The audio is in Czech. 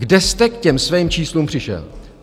Kde jste k těm svým číslům přišel?